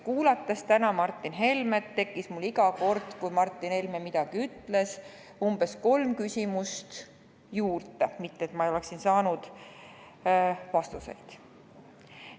Kuulates täna Martin Helmet, tekkis mul iga kord, kui ta midagi ütles, umbes kolm küsimust juurde, mitte et ma oleksin vastuse saanud.